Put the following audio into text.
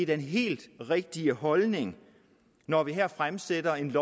den helt rigtige holdning når vi her fremsætter et